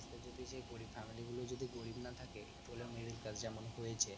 আস্তে যদি সেই গরিব family গুলো যদি গরিব না থাকে একটু হলে ও middle class যেমন হয়েছে